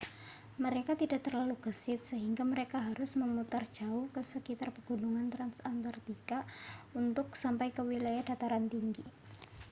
mereka tidak terlalu gesit sehingga mereka harus memutar jauh ke sekitar pegunungan transantarktika untuk sampai ke wilayah dataran tinggi